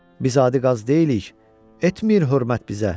Biz adi qaz deyilik, etmir hörmət bizə.